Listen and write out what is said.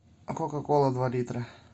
кока кола два литра